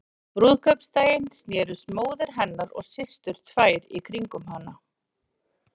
Á brúðkaupsdaginn snerust móðir hennar og systur tvær í kringum hana.